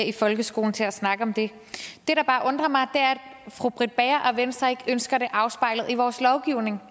i folkeskolen til at snakke om det det der bare undrer mig er at fru britt bager og venstre ikke ønsker det afspejlet i vores lovgivning